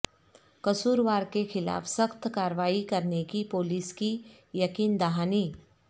قصور وار کے خلاف سخت کاروالی کرنے کی پولیس کی یقین دہانی